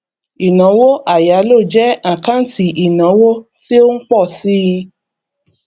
ìnáwó àyálò jẹ àkáǹtì ìnáwó tí ó ń pọ síi